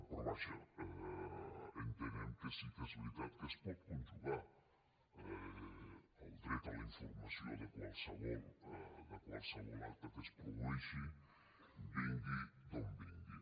però vaja entenem que sí que és veritat que es pot conjugar el dret a la informació de qualsevol acte que es produeixi vingui d’on vingui